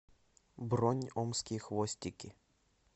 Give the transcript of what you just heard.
бронь омские хвостики